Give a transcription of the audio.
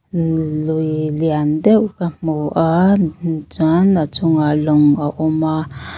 lui lian deuh ka hmu a chuan a chungah lawng a awm a.